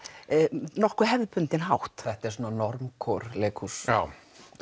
nokkuð hefðbundinn hátt þetta er svona leikhús já